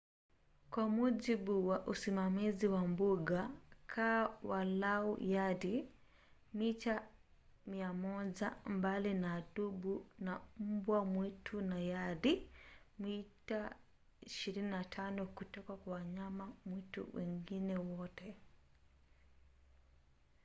kwa mujibu wa usimamizi wa mbuga kaa walau yadi/mita 100 mbali na dubu na mbwa mwitu na yadi/mita 25 kutoka kwa wanyama mwitu wengine wote!